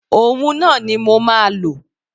Òhun náà ni mo máa lò.